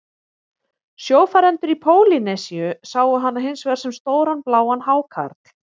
Sjófarendur í Pólýnesíu sáu hana hins vegar sem stóran bláan hákarl.